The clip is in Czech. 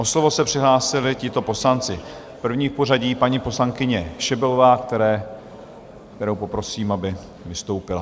O slovo se přihlásili tito poslanci: první v pořadí paní poslankyně Šebelová, kterou poprosím, aby vystoupila.